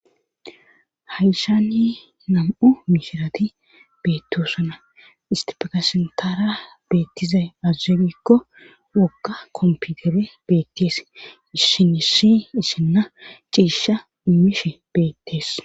Haishani nam7u mishirati beettosana istifakasentaara beettizay azzegikko wokka komputere beettees isshinishi isshinna ciisha umishe beettees